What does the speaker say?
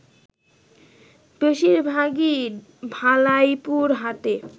বেশিরভাগই ভালাইপুর হাটের